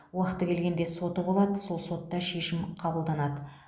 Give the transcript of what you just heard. уақыты келгенде соты болады сол сотта шешім қабылданады